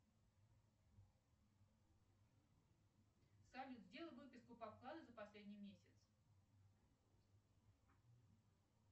салют сделай выписку по вкладу за последний месяц